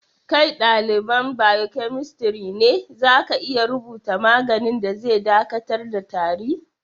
Kai dalibain biokemistri ne, za ka iya rubuta maganin da zai dakatar da tari?